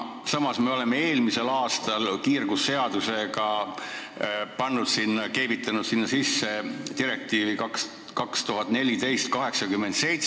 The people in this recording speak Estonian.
Samas me võtsime eelmisel aastal kiirgusseadust täiendades üle direktiivi 2014/87.